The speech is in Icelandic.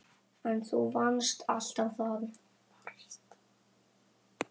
En þú varst alltaf þar.